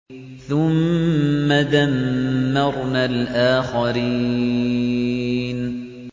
ثُمَّ دَمَّرْنَا الْآخَرِينَ